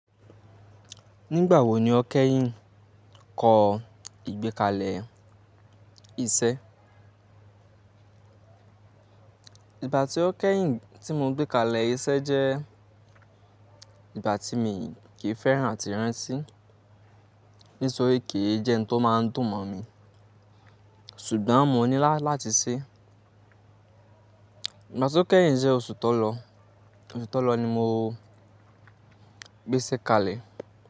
Nígbà wo ni o kẹ́yìn kọ ìgbékalẹ̀ iṣẹ́? Ìgbà tí o kẹ́yìn tí mo gbé kalẹ̀ iṣẹ́ jẹ́ ìgbà tí mi kì í fẹ́ràn àti rántí, nítorí kì í jẹ́ ohun tó máa ń dùn mọ̀ mi. Ṣùgbọ́n mo nílá láti ṣé. Ìgbà tí o kẹ́yìn jẹ́ oṣù tó lọ. Oṣù tó lọ ni mo gbéṣẹ́ kalẹ̀.